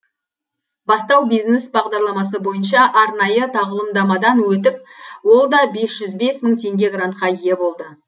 бастау бизнес бағдарламасы бойынша арнайы тағылымдамадан өтіп ол да бес жүз бес мың теңге грантқа ие болды